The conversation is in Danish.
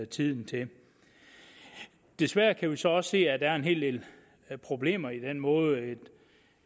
tiden til desværre kan vi så også se at der er en hel del problemer i den måde